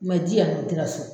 ji y'a sɔn